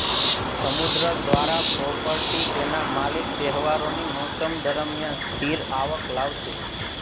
સમુદ્ર દ્વારા પ્રોપર્ટી તેના માલિક તહેવારોની મોસમ દરમિયાન સ્થિર આવક લાવશે